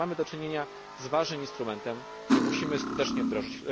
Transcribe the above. Tak więc mamy do czynienia z ważnym instrumentem, który musimy skutecznie wdrożyć.